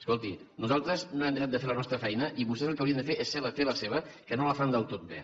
escolti nosaltres no hem deixat de fer la nostra feina i vostès el que haurien de fer és fer bé la seva que no la fan del tot bé